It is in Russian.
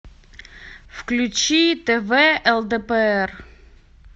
включи тв лдпр